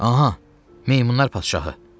Aha, meymunlar padşahı!